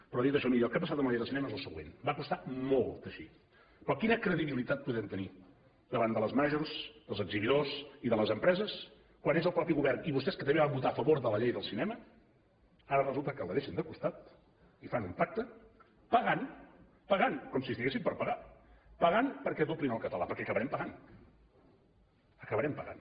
però dit això miri el que ha passat amb la llei del cinema és el següent va costar molt teixir però quina credibilitat podem tenir davant de les majors dels exhibidors i de les empreses quan és el mateix govern i vostès que també van votar a favor de la llei del cinema que ara resulta que la deixen de costat i fan un pacte pagant pagant com si estiguéssim per pagar perquè doblin al català perquè acabarem pagant acabarem pagant